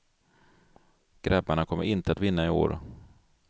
Grabbarna kommer inte att vinna i år.